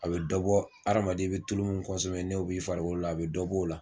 A bɛ dɔ bɔ adamaden i bɛ tulu min n'o b'i farikolo la a bɛ dɔ b'o la.